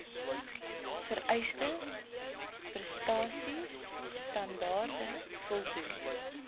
vereiste prestasiestandaarde voldoen